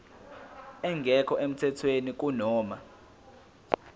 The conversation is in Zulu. engekho emthethweni kunoma